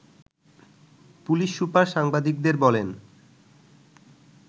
police super সাংবাদিকদের বলেন